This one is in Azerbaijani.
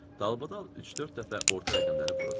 Dalbadal üç-dörd dəfə orta rəqəmləri vurur.